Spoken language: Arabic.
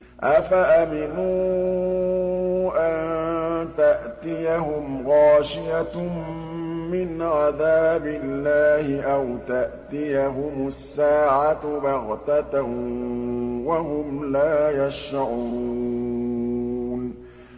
أَفَأَمِنُوا أَن تَأْتِيَهُمْ غَاشِيَةٌ مِّنْ عَذَابِ اللَّهِ أَوْ تَأْتِيَهُمُ السَّاعَةُ بَغْتَةً وَهُمْ لَا يَشْعُرُونَ